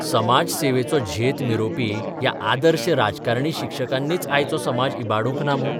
समाजसेवेचो झेत मिरोवपी ह्या 'आदर्श 'राजकारणी शिक्षकांनीच आयचो समाज इबाडूंक ना मूं?